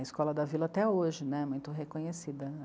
A Escola da Vila até hoje né, é muito reconhecida.